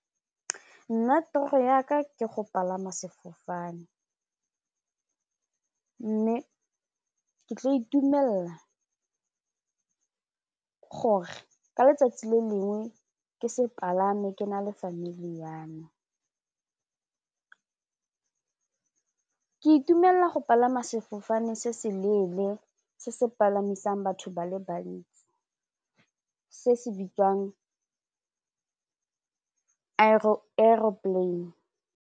Nna toro yaka ke go palama sefofane mme ke tla itumelela gore ka letsatsi le lengwe ke se palame ke na le family yame, ke itumelela go palama sefofane se se leele se se palamisang batho ba le bantsi se se bitswang aeroplane.